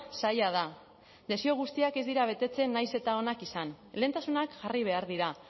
zaila da desio guztiak ez dira betetzen nahiz eta onak izan lehentasunak jarri behar dira